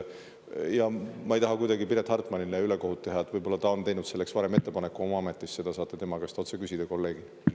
Ja ma ei taha kuidagi Piret Hartmanile ülekohut teha – võib-olla ta on teinud selleks varem ettepaneku oma ametis, seda saate tema käest otse küsida, kolleegilt.